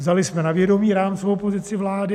Vzali jsme na vědomí rámcovou pozici vlády.